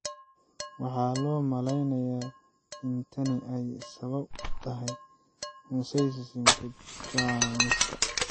Waxaa loo maleynayaa in tani ay sabab u tahay mosaicism-ka jeermiska.